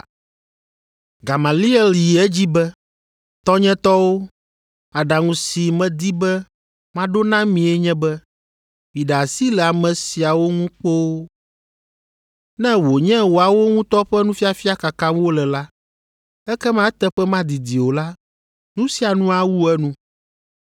Gamaliel yi edzi be, “Tɔnyetɔwo, aɖaŋu si medi be maɖo na mie nye be miɖe asi le ame siawo ŋu kpoo. Ne wònye woawo ŋutɔ ƒe nufiafia kakam wole la, ekema eteƒe madidi o la, nu sia nu awu enu.